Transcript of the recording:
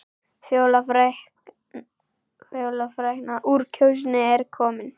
Fjóla frækna úr Kjósinni er komin.